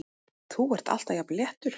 Þú ert alltaf jafn léttur!